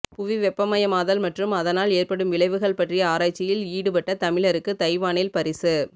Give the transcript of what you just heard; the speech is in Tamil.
புவி வெப்பமயமாதல் மற்றும் அதனால் ஏற்படும் விளைவுகள் பற்றிய ஆராய்ச்சியில் ஈடுபட்ட தமிழருக்கு தைவானில் பரிசு